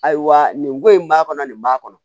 Ayiwa nin ko in b'a kɔnɔ nin b'a kɔnɔ